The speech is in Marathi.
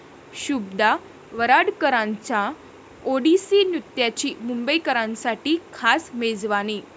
शुभदा वराडकरांच्या ओडिसी नृत्याची मुंबईकरांसाठी खास 'मेजवानी'